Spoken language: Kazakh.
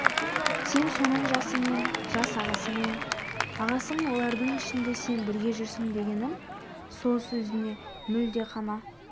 сен соның жасымен жас ағасымен ағасың олардың ішінде сен бірге жүрсің дегенім сол сөзіңе мүлде қана